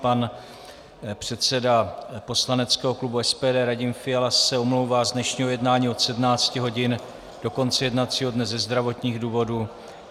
Pan předseda poslaneckého klubu SPD Radim Fiala se omlouvá z dnešního jednání od 17 hodin do konce jednacího dne ze zdravotních důvodů.